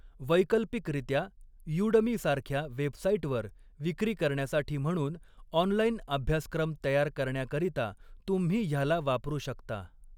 वैकल्पिकरित्या, 'यूडमी' सारख्या वेबसाइटवर विक्री करण्यासाठी म्हणून ऑनलाइन अभ्यासक्रम तयार करण्याकरीता तुम्ही ह्याला वापरू शकता.